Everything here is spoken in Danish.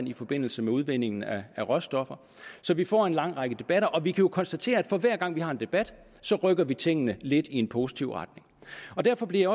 i forbindelse med udvindingen af råstoffer så vi får en lang række debatter og vi kan jo konstatere at for hver gang vi har en debat så rykker vi tingene lidt i en positiv retning derfor bliver